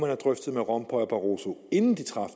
have drøftet med rompuy og barroso inden de traf